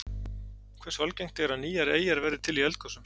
Hversu algengt er að nýjar eyjar verði til í eldgosum?